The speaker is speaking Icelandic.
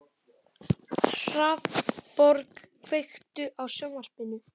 Hrafnborg, kveiktu á sjónvarpinu.